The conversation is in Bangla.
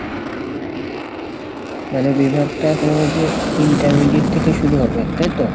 মানে বিভাগটা তোমার ওই যে intermediate থেকে শুরু হবে, তাই তো?